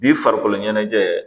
Bi farikolo ɲɛnajɛ